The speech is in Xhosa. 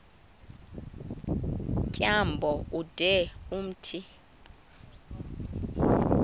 tyambo ude umthi